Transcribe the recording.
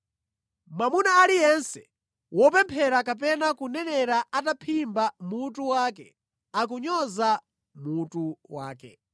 Mwamuna aliyense wopemphera kapena kunenera ataphimba mutu wake akunyoza mutu wakewo.